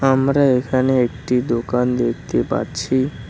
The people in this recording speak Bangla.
আমরা এখানে একটি দোকান দেখতে পারছি।